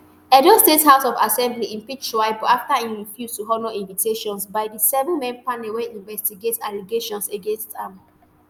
edo state house of assembly impeach shaibu afta e refuse to honour invitations by di sevenman panel wey investigate allegations against am